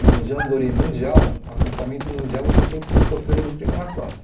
Um jamboree mundial, acampamento mundial, você tem que ser escoteiro de primeira classe.